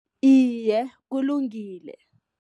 Iye, kulungile.